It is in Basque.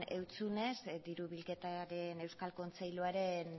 zizunez diru bilketaren euskal kontseiluaren